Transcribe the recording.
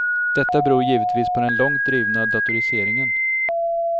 Detta beror givetvis på den långt drivna datoriseringen.